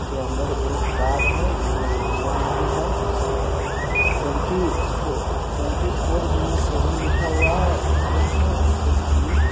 के अंदर एक गार्ड है जो अंदर नही है और ट्वेंटी फ़ो ट्वेंटी फोर गुने सेवन लिखा हुआ है और ए.टी.एम. है इसके सामने।